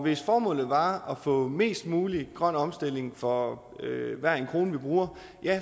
hvis formålet var at få mest mulig grøn omstilling for hver en krone vi bruger